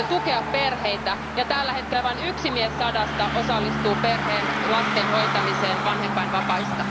Halusitte tukea perheitä, ja tällä hetkellä vain yksi mies sadasta osallistuu perheen lasten hoitamiseen vanhempainvapaista.